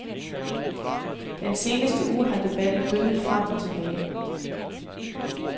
Den seneste uge har debatten bølget frem og tilbage.